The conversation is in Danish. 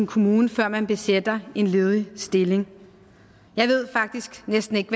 kommune før man besætter en ledig stilling jeg ved faktisk næsten ikke